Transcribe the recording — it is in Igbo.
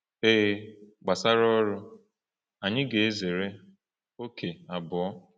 Ee, gbasara ọrụ, anyị ga-ezere ókè abụọ.